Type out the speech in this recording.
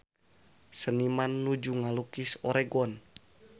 Seniman nuju ngalukis Oregon